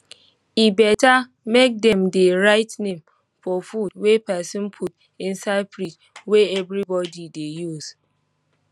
e better make dem dey write name for food wey pesin put inside fridge wey everybody dey use